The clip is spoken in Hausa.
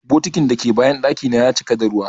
Bokitin dake bayan daki na ya cika da ruwa.